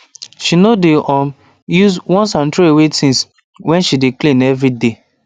she no dey um use onceandthrowaway things when she dey clean every day